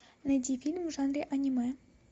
найди фильм в жанре аниме